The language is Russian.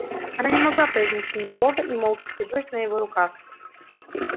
она не могла произнести ни слова и молча вцепилась на его рукав